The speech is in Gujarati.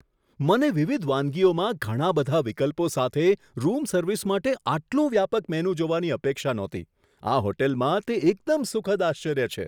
મને વિવિધ વાનગીઓમાં ઘણા બધા વિકલ્પો સાથે રૂમ સર્વિસ માટે આટલું વ્યાપક મેનૂ જોવાની અપેક્ષા નહોતી. આ હોટલમાં તે એકદમ સુખદ આશ્ચર્ય છે!